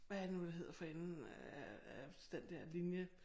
Hvad er det nu det hedder for enden af af den der linje